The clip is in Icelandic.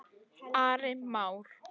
Ari Már.